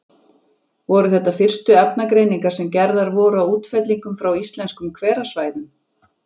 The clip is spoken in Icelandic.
Voru þetta fyrstu efnagreiningar sem gerðar voru á útfellingum frá íslenskum hverasvæðum.